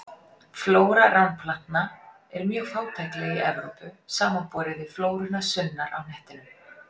Flóra ránplantna er mjög fátækleg í Evrópu, samanborið við flóruna sunnar á hnettinum.